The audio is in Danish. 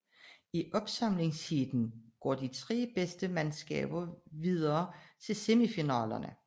I opsamlingsheatene går de tre bedste mandskaber videre til semifinalerne